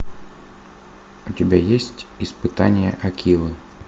у тебя есть испытание акилы